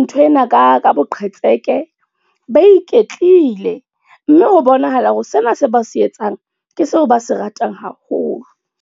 ntho ena ka ka boqhetseke ba iketlile. Mme ho bonahala hore sena se ba se etsang, ke seo ba se ratang haholo.